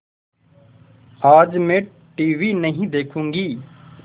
आज मैं टीवी नहीं देखूँगी